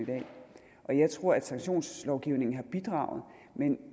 i dag og jeg tror at sanktionslovgivningen har bidraget men